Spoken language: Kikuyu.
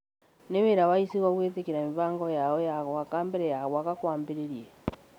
nĩ wĩra wa icigo gwĩtĩkĩria mĩbango yao ya gwaka mbere ya gwaka kwambĩrĩirie